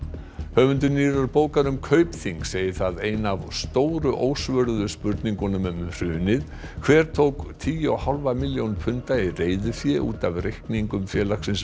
höfundur nýrrar bókar um Kaupþing segir það eina af stóru ósvöruðu spurningunum um hrunið hver tók tíu og hálfa milljón punda í reiðufé út af reikningum félagsins